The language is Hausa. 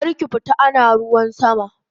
Karki fita ana ruwan sama!